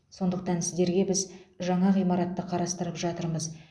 сондықтан сіздерге біз жаңа ғимаратты қарастырып жатырмыз